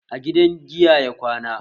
A gidan giya ya kwana